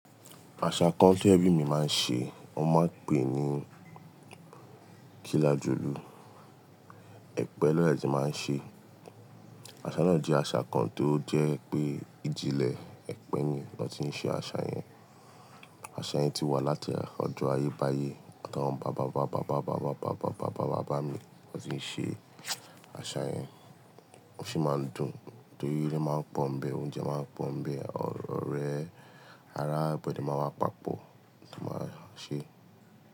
Àṣà kan tó ẹ̀bi mi máa ń ṣe, wón máa ń pè ní kilajulu. Ẹ̀pẹ̀ lọ́ de ti máa ń ṣe. Àṣà náà jẹ́ àṣà kan tó jẹ́ pé ìjìnlẹ̀ ẹ̀pẹ̀ ni wọ́n ti ń ṣe àṣà yẹn. Àṣà yẹn ti wà láti ọdún ayé báyé. Ó dáwọn bàbá bàbá bàbá bàbá bàbá bàbá bàbá bàbá mi wọ́n ti ń ṣe àṣà yẹn. Wọn sì máa ń dùn torí eré máa ń pọ́n ń bẹ, oúnjẹ máa ń pọ́n ń bẹ, ọ̀rẹ́ ará ibodè máa wá papọ̀ ni wọn máa ń ṣe.